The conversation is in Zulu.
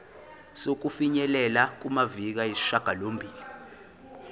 sokufinyelela kumaviki ayisishagalombili